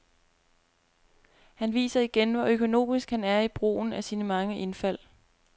Han viser igen, hvor økonomisk han er i brugen af sine mange indfald.